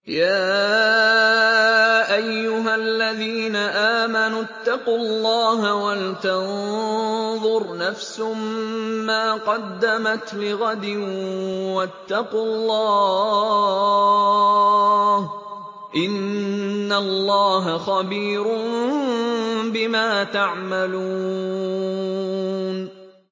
يَا أَيُّهَا الَّذِينَ آمَنُوا اتَّقُوا اللَّهَ وَلْتَنظُرْ نَفْسٌ مَّا قَدَّمَتْ لِغَدٍ ۖ وَاتَّقُوا اللَّهَ ۚ إِنَّ اللَّهَ خَبِيرٌ بِمَا تَعْمَلُونَ